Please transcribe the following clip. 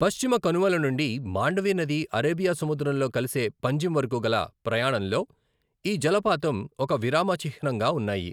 పశ్చిమ కనుమల నుండి మాండవి నది అరేబియా సముద్రంలో కలిసే పంజిమ్ వరకు గల ప్రయాణంలో ఈ జలపాతం ఒక విరామ చిహ్నంగా ఉన్నాయి.